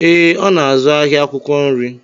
Ee, ọ n'azụ ahịa akwụkwọ nri